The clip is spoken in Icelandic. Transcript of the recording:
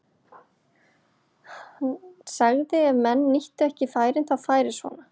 Hann sagði að ef menn nýttu ekki færin þá færi svona.